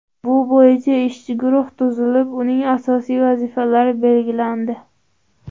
Bu bo‘yicha ishchi guruh tuzilib, uning asosiy vazifalari belgilandi.